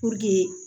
Puruke